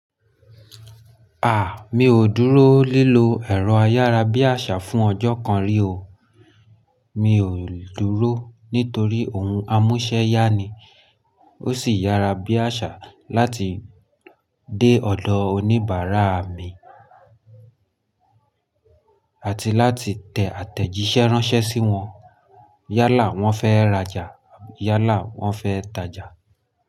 À, mi ò dúró lílo ẹ̀rọ ayárabíàṣá fún ọjọ́ kan rí o. Mi ò dúró nítorí ohun amúṣẹ ya ni, ó sì yára bí àṣá láti dé ọ̀dọ̀ oníbàárà mi àti láti tẹ àtẹ̀jíṣẹ́ ránṣẹ́ sí wọn. Yálà wọ́n fẹ́ rajà, yálà wọ́n fẹ́ tajà.